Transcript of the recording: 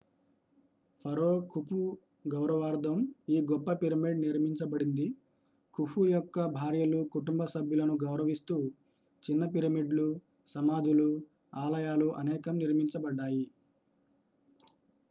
ఫరో ఖుఫుగౌరవార్థం ఈ గొప్ప పిరమిడ్ నిర్మించబడింది ఖుఫు యొక్క భార్యలు కుటుంబ సభ్యులను గౌరవిస్తూ చిన్న పిరమిడ్లు సమాధులు ఆలయాలు అనేకం నిర్మించబడ్డాయి